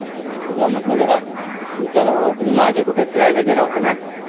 तुला म्हटलं जरा विचारावं.तुम्ही मागे कुठं फिरायला गेला होता ना?